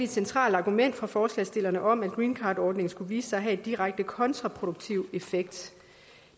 centralt argument fra forslagsstillerne om at greencardordningen skulle vise sig at have en direkte kontraproduktiv effekt